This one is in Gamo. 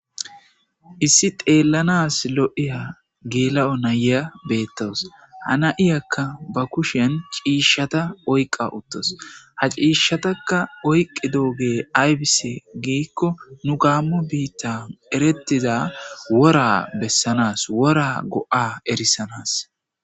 issi teellanas lo7iya geela7o naya beettowos hana7iyakka ba kushen ciishshata oyqa uttos ha ciishshataka oyqi dooge aybise giikko nu gaammo biitta erettiza wora bessanas wora go7a erissanas